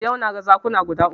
Yau na ga zakuna guda uku